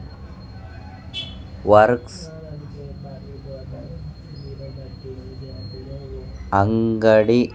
works అంగడి